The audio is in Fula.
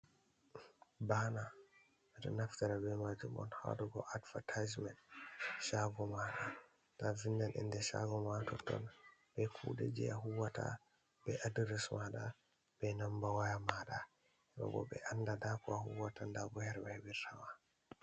Ɓana ɓeɗo naftora be majum on ha waɗogo advetisment chago mada, to a vindan inde shago ma totton be kuɗe je a huwata, be adres mada, be Namba waya maɗa , heɓa ɓo ɓe anda nda ko a huwata ndabo her ɓe hebir tama.